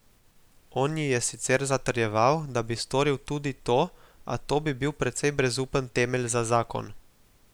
On ji je sicer zatrjeval, da bi storil tudi to, a to bi bil precej brezupen temelj za zakon.